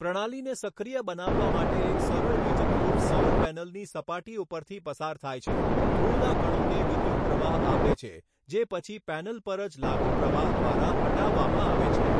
પ્રણાલીને સક્રિય બનાવવા માટે એક સરળ વીજધ્રુવ સૌર પૅનલની સપાટી ઉપરથી પસાર થાય છે, ધૂળના કણોને વિદ્યુત પ્રવાહ આપે છે, જે પછી પૅનલ પર જ લાગુ પ્રવાહ દ્વારા હટાવવામાં આવે છે.